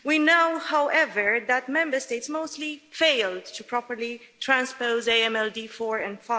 We know, however, that Member States have mostly failed to properly transpose AMLD 4 and